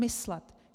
Myslet.